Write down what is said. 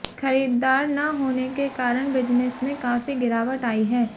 खरीददार न होने के कारण बिजनेस में काफी गिरावट आयी है